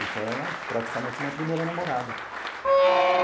Então ela é praticamente minha primeira namorada.